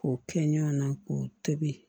K'o kɛ ɲɔn na k'o tobi